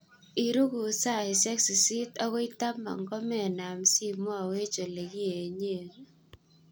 Irukut saisiek sisit akoi taman komenam simowech olekienyen.